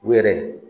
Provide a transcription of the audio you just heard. U yɛrɛ